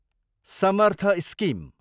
Samarth scheme